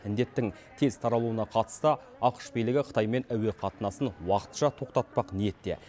індеттің тез таралуына қатысты ақш билігі қытаймен әуеқатынасын уақытша тоқтатпақ ниетте